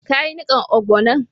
Ka yi nikan ogbono'n?